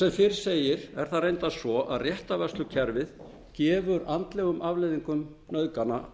sem fyrr segir er það reyndar svo að réttarvörslukerfið gefur þessum andlegum afleiðingum nauðgana